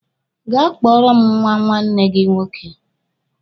Gaa kpọọrọ m nwa nne gi nwoke!